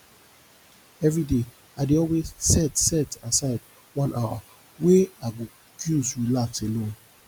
everyday i dey always set set aside one hour wey i go use relax alone